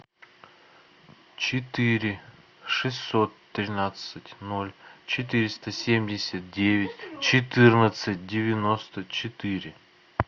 четыре шестьсот тринадцать ноль четыреста семьдесят девять четырнадцать девяносто четыре